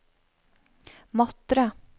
Matre